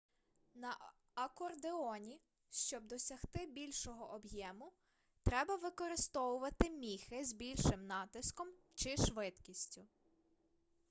на акордеоні щоб досягти більшого об'єму треба використовувати міхи з більшим натиском чи швидкістю